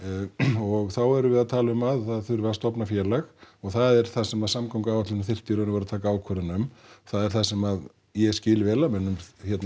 og þá erum við að tala um það að það þyrfti að stofna félag og það er einmitt það sem samgönguáætlun þyrfti í rauninni að taka ákvörðun um það er það sem ég skil vel að mönnum